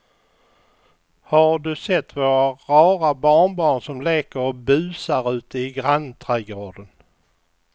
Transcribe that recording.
Har du sett våra rara barnbarn som leker och busar ute i grannträdgården!